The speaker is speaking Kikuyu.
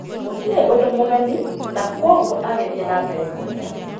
Gũtirĩ ũndũ mũgeni, na kwoguo agĩthiĩ na mbere kũrĩa.